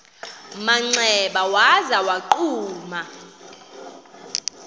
manxeba waza wagquma